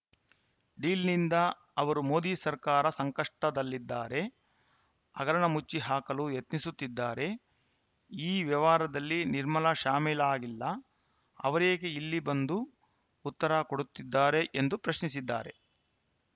ಡೀಲ್‌ನಿಂದ ಅವರು ಮೋದಿ ಸರ್ಕಾರ ಸಂಕಷ್ಟದಲ್ಲಿದ್ದಾರೆ ಹಗರಣ ಮುಚ್ಚಿ ಹಾಕಲು ಯತ್ನಿಸುತ್ತಿದ್ದಾರೆ ಈ ವ್ಯವಹಾರದಲ್ಲಿ ನಿರ್ಮಲಾ ಶಾಮೀಲಾಗಿಲ್ಲ ಅವರೇಕೆ ಇಲ್ಲಿ ಬಂದು ಉತ್ತರ ಕೊಡುತ್ತಿದ್ದಾರೆ ಎಂದು ಪ್ರಶ್ನಿಸಿದ್ದಾರೆ